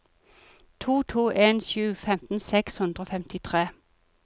to to en sju femten seks hundre og femtitre